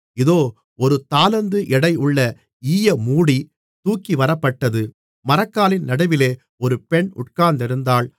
இதோ ஒரு தாலந்து எடையுள்ள ஈயமூடி தூக்கிவரப்பட்டது மரக்காலின் நடுவிலே ஒரு பெண் உட்கார்ந்திருந்தாள்